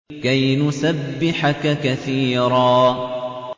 كَيْ نُسَبِّحَكَ كَثِيرًا